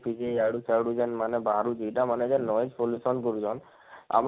DJ ଇଆଡୁ ସେଆଡୁ ଜେନ ମାନେ ବାହାରୁଛେ ଇଟା ମାନେ ଜେନ pollution କରୁଛନ, ଆପଣ